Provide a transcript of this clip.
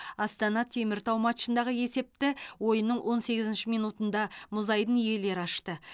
астана теміртау матчындағы есепті ойынның он сегізінші минутында мұзайдын иелері ашты